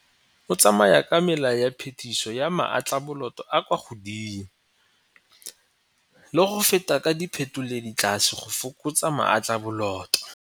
O tsamaya ka mela ya phetiso ya maatlaboloto a a kwa godimo le go feta ka diphetoledi tlase go fokotsa maatlaboloto.